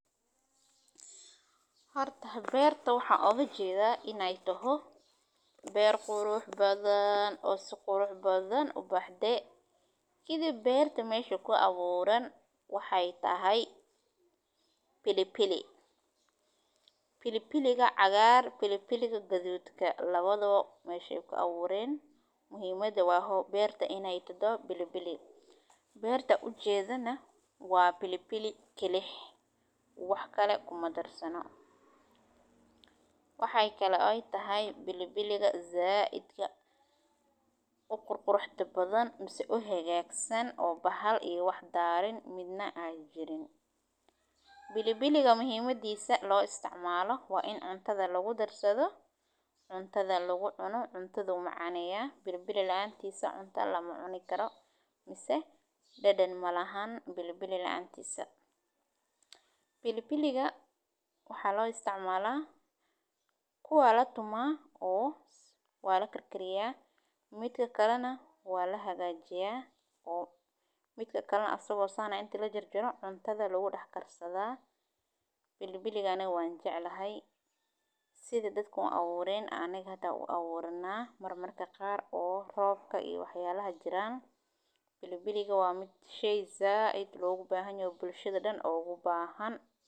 Horta waxan oga jedaa berta inay tahay ber si qurux badan u baxde ,kadib berta mesha ku aburan waxey tahay pilipili. Pilipiliga cagar ,pilipiliga gadud labadoba meshay kuaburen muhimada waa berta iney tahdo pilipili, berta an ujedana waa pilipili kilix wax kale kumadarsano . Waxey kale ay tahana pilipiliga zaidka u qurux badan mise u hagagsan oo bahaya bahal iyo wax darey midna an jirin . Pilipiliga muhimadisa loo isticmalay waxey tahay waa in cuntada lagu darsadho ,cundadha lagu cuno, cuntadhu macaneya ,pilipili laantisa cunta lamacuni karo mise dhadhan malahan pilipili lacantisa .Pilipiliga waxa lo isticmala waa latuma oo waa lakarkariya oo mida kalena waa lahagajiya ,midka kalena asago sas ah ayaa inta lahagajiyo cuntada lagu darsadha ,pilipiliga aniga wan jeclahay sidha dadka u aburen aa aniga hada u aburana mararka qaar oo robka iyo waxyalaha jiran ,pilipiliga waa shey zaid logu bahan yahay bulshada oo dhan ogu bahan.